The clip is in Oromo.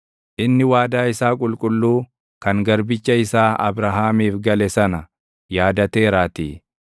Inni waadaa isaa qulqulluu, kan garbicha isaa Abrahaamiif gale sana yaadateeraatii.